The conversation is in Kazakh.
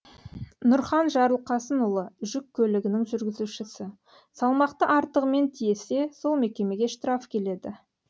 нұрхан жарылқасынұлы жүк көлігінің жүргізушісі салмақты артығымен тиесе сол мекемеге штраф келеді